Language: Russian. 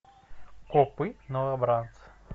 копы новобранцы